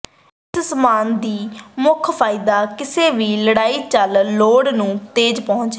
ਇਸ ਸਾਮਾਨ ਦੀ ਮੁੱਖ ਫਾਇਦਾ ਕਿਸੇ ਵੀ ਲੜਾਈ ਚੱਲ ਲੋੜ ਨੂੰ ਤੇਜ਼ ਪਹੁੰਚ ਹੈ